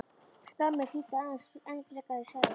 Skammir þýddu aðeins enn frekari ærsl.